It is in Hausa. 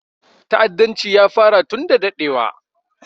Ta'addanci ya fara tun da daɗewa